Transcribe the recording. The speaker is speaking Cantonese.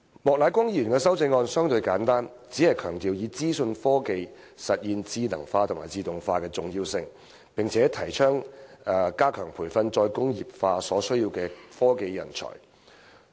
莫乃光議員的修正案相對簡單，只強調以資訊科技實現智能化及自動化的重要性，並提倡加強培訓"再工業化"所需的科技人才。